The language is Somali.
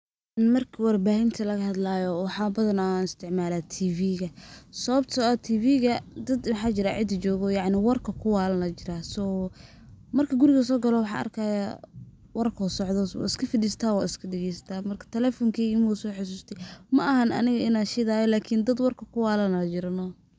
Marka warbaahinta laga hadlaayo waxaa badanaa isticmalaa tv ga ,sawabtoo ah tv ga dad waxaa jiro cidda joogo oo yacni oo warka ku waalan ayaa jiraa ,so . Marka guriga aan soo galo bo waxaan arkaya warka oo socod waan iska fadhistaa waan iska dhagestaa marka telefonkeyga mawa soo xasusti ,maahan aniga inaan shidaayo marka dad warka ku waalan ayaa jiro noh.